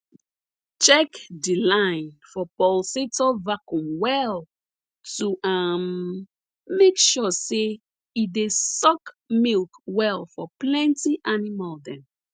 check de line for pulsator vacuum well to um make sure say e dey suck milk well for plenty animal dem